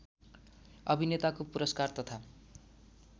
अभिनेताको पुरस्कार तथा